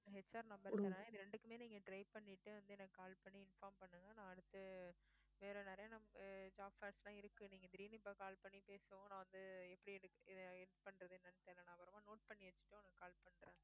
HRnumber தரேன் இது ரெண்டுக்குமே நீங்க try பண்ணிட்டு வந்து எனக்கு call பண்ணி inform பண்ணுங்க நான் அடுத்து வேற நிறைய num~ அஹ் job இருக்கு நீங்க திடீர்ன்னு இப்போ call பண்ணி பேசவும் நான் வந்து எப்படி எடுக்~ அஹ் இது பண்றதுன்னு எனக்கு தெரில நான் அப்புறமா note பண்ணி வச்சுட்டு உங்களுக்கு call பண்றேன்